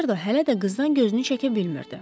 Makmerdo hələ də qızdan gözünü çəkə bilmirdi.